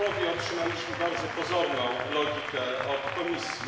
Otrzymaliśmy bardzo pozorną logikę od Komisji.